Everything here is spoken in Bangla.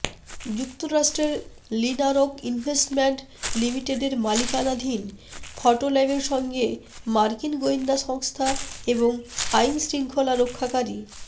যুক্তরাষ্ট্রের লিনারক ইনভেস্টমেন্ট লিমিটেডের মালিকানাধীন ফটোল্যাবের সঙ্গে মার্কিন গোয়েন্দা সংস্থা এবং আইনশৃঙ্খলা রক্ষাকারী